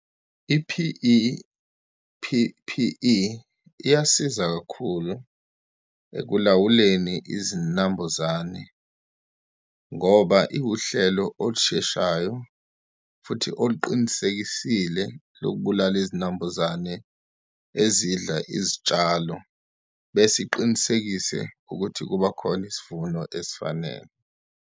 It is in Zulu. I-P_E, P_P_E iyasiza kakhulu ekulawuleni izinambuzane ngoba iwuhlelo olusheshayo, futhi oluqinisekisile lokubulala izinambuzane ezidla izitshalo, bese iqinisekise ukuthi kuba khona isivuno esifanele.